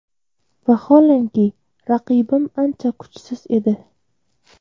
Vaholanki, raqibim ancha kuchsiz edi.